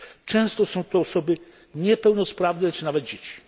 Często są to osoby niepełnosprawne, czy nawet dzieci.